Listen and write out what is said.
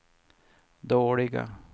dåliga